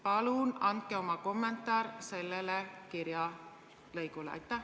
Palun andke oma kommentaar sellele kirja lõigule!